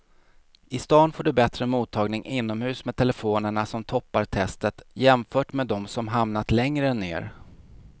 I stan får du bättre mottagning inomhus med telefonerna som toppar testet jämfört med de som hamnat längre ner.